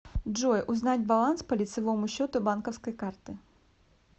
джой узнать баланс по лицевому счету банковской карты